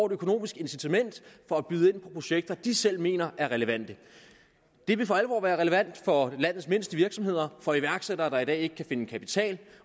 et økonomisk incitament til at byde ind på projekter de selv mener er relevante det ville for alvor være relevant for landets mindste virksomheder og iværksættere der i dag ikke kan finde kapital